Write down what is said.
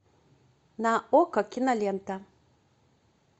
на окко кинолента